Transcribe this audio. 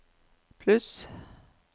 pluss